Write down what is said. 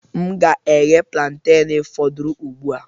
M ga-eghe plaintain foduru ugbu a.